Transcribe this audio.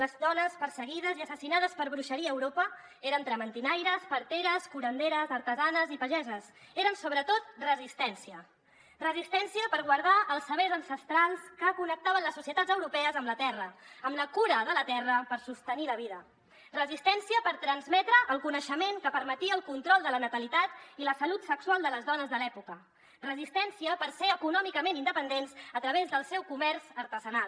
les dones perseguides i assassinades per bruixeria a europa eren trementinaires parteres curanderes artesanes i pageses eren sobretot resistència resistència per guardar els sabers ancestrals que connectaven les societats europees amb la terra amb la cura de la terra per sostenir la vida resistència per transmetre el coneixement que permetia el control de la natalitat i la salut sexual de les dones de l’època resistència per ser econòmicament independents a través del seu comerç artesanal